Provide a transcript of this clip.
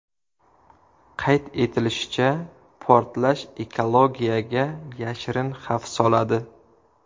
Qayd etilishicha, portlash ekologiyaga yashirin xavf soladi.